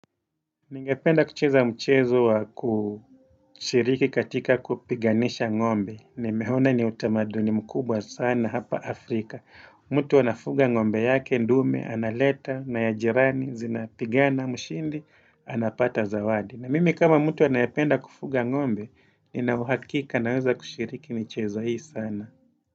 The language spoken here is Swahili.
Ningependa kucheza mchezo wa kushiriki katika kupiganisha ngombe. Nimehona ni utamanduni mkubwa sana hapa Afrika. Mtu anafunga ngombe yake, ndume, analeta, naya jirani, zinapigana, mshindi, anapata zawadi. Na mimi kama mtu anayependa kufuga ngombe, ninauhakika naweza kushiriki michezo hii sana.